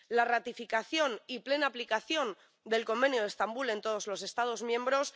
la ratificación y plena aplicación del Convenio de Estambul en todos los Estados miembros